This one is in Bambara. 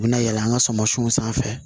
U bɛ na yɛlɛn an ka sumansiw sanfɛ